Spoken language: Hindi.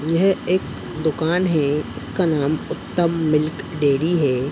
यह एक दुकान है। इसका नाम उत्तम मिल्क डेयरी है।